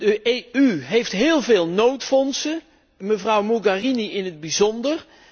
De EU heeft heel veel noodfondsen, mevrouw Mogherini in het bijzonder.